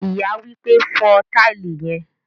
Ìyá wípé, "fo tile yen"